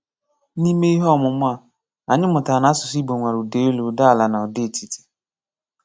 N’ime ihe ọmụ̀mụ̀ a, anyị mụ̀tárà na asụ̀sụ́ Ìgbò nwere ụ́dá élú, ụ́dá àlà, na ụ́dá etìtí.